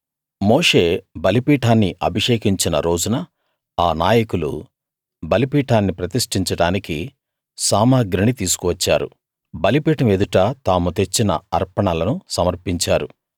మోషే బలిపీఠాన్ని అభిషేకించిన రోజున ఆ నాయకులు బలిపీఠాన్ని ప్రతిష్టించడానికి సామగ్రిని తీసుకు వచ్చారు బలిపీఠం ఎదుట తాము తెచ్చిన అర్పణలను సమర్పించారు